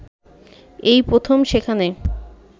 এই প্রথম সেখানে